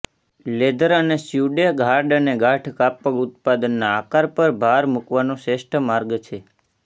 leather અને suede hard અને ગાઢ કાપડ ઉત્પાદનના આકાર પર ભાર મૂકવાનો શ્રેષ્ઠ માર્ગ છે